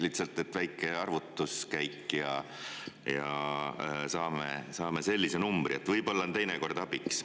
Lihtsalt väike arvutuskäik ja saame sellise numbri, võib-olla on teinekord abiks.